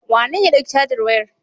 Wanene ya ɗauki cajar wayar?